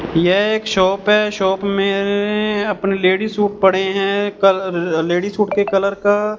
यह एक शॉप है शॉप में अपने लेडीज सूट पड़े हैं कल लेडीज सूट के कलर का --